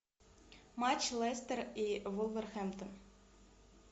матч лестер и вулверхэмптон